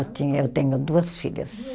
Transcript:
eu tenho duas filhas.